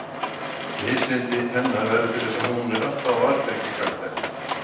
Mislyndi hennar verður til þess að hún er alltaf á varðbergi gagnvart henni.